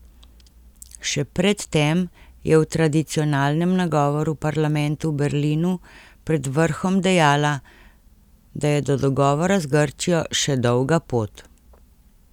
Še pred tem je v tradicionalnem nagovoru parlamentu v Berlinu pred vrhom dejala, da je do dogovora z Grčijo še dolga pot.